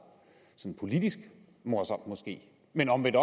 sådan politisk morsomt men omvendt